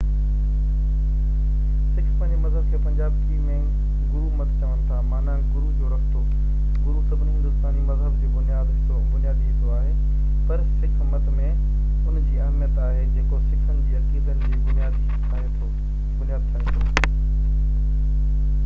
Sick پنهنجي مذهب کي پنجابي ۾ گرو مت چون ٿا معنيٰ گرو جو رستو". گرو سڀني هندوستاني مذهب جو بنيادي حصو آهي پر سِک مت ۾ ان جي اهميت آهي جيڪو سِکن جي عقيدن جي بنياد ٺاهي ٿو